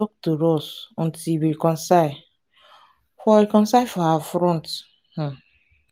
talk to us until we reconcile for reconcile for her front um